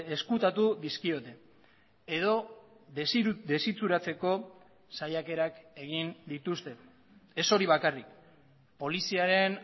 ezkutatu dizkiote edo desitxuratzeko saiakerak egin dituzte ez hori bakarrik poliziaren